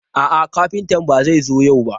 A'a, kafinta ba zai zo yau ba.